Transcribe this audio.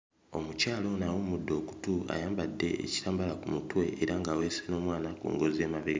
Omukyala ono awumudde okutu ayambadde ekitambaala ku mutwe era ng'aweese n'omwana ku ngozi emabe.